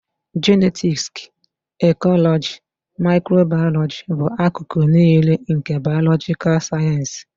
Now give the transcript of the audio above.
Jenetiksi, ekọlọji, maịkrobayọlọji bụ akụkụ niile nke bayolojikal sayensị